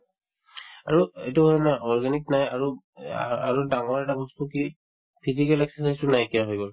আৰু এইটোৰ না organic নাই আৰু এ আ আৰু ডাঙৰ এটা বস্তু কি physical exercise ও নাইকিয়া হৈ গল